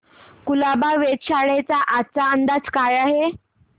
कुलाबा वेधशाळेचा आजचा अंदाज काय आहे